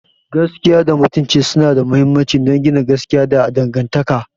Gaskiya da Mutunci suna da mahimmanci don gina gaskiya da dangantaka.